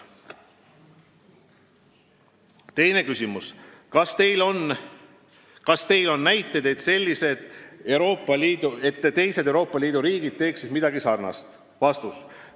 Teine küsimus: "Kas Teil on näiteid, et teised EL-i riigid teeksid midagi sarnast?